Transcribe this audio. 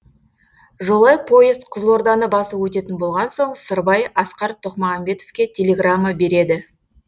жолай поезд қызылорданы басып өтетін болған соң сырбай асқар тоқмағамбетовке телеграмма береді